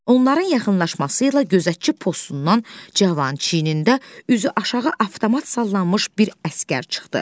Onların yaxınlaşması ilə gözətçi postundan Cavan çiynində üzü aşağı avtomat sallanmış bir əsgər çıxdı.